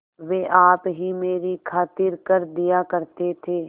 वे आप ही मेरी खातिर कर दिया करते थे